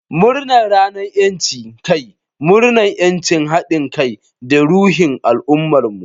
Murnar Ranar 'Yancin Kai! Murnar 'yanci, hadin kai, da ruhin al'ummarmu.